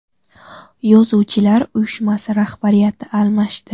Yozuvchilar uyushmasi rahbariyati almashdi.